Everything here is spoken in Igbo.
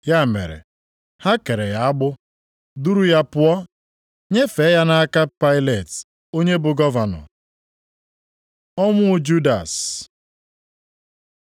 Ya mere, ha kere ya agbụ, duru ya pụọ, nyefee ya nʼaka Pailet onye bụ gọvanọ. Ọnwụ Judas